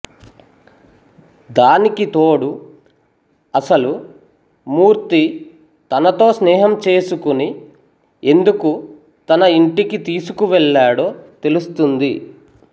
దానికి తోడు అసలు మూర్తి తనతో స్నేహం చేసుకుని ఎందుకు తన ఇంటికి తీసుకువెళ్ళాడో తెలుస్తుంది